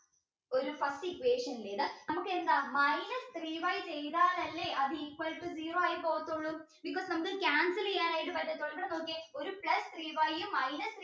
ഒരു first equation നമുക്കെന്താ minus three y ചെയ്താൽ അല്ലേ ഇത് equal to zero ആയി പോകത്തുള്ളൂ because നമുക്ക് cancel ചെയ്യാനായിട്ട് പറ്റത്തൊള്ളൂ ഇത് നോക്കിയ ഒരു plus three y minus